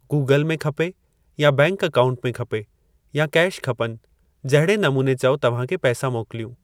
Google में खपे या बैंक अकाउंट में खपे या केश खपनि, जहिड़े नमूने चओ तव्हां खे पैसा मोकिलियूं?